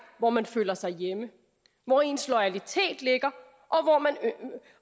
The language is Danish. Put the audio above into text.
hvor man føler sig hjemme hvor ens loyalitet ligger